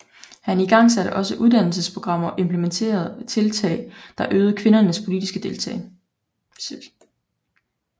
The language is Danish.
Han igangsatte også uddannelsesprogrammer og implementerede tiltage der øgede kvinders politiske deltagelse